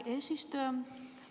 Hea eesistuja!